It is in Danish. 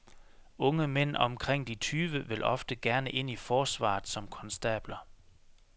Unge mænd omkring de tyve vil ofte gerne ind i forsvaret som konstabler.